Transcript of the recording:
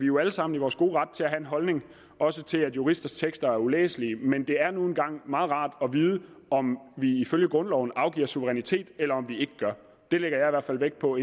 jo alle sammen i vores gode ret til at have en holdning også til at juristers tekster er ulæselige men det er nu engang meget rart at vide om vi ifølge grundloven afgiver suverænitet eller om vi ikke gør det lægger jeg i hvert fald vægt på